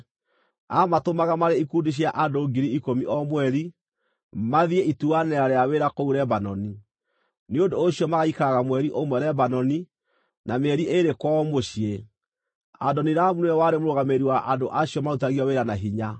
Aamatũmaga marĩ ikundi cia andũ ngiri ikũmi o mweri, mathiĩ ituanĩra rĩa wĩra kũu Lebanoni; nĩ ũndũ ũcio magaikaraga mweri ũmwe Lebanoni, na mĩeri ĩĩrĩ kwao mũciĩ. Adoniramu nĩwe warĩ mũrũgamĩrĩri wa andũ acio marutithagio wĩra na hinya.